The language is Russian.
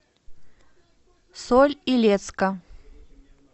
соль илецка